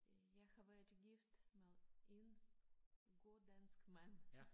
Øh jeg har været gift med en god dansk mand